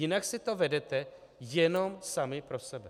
Jinak si to vedete jenom sami pro sebe.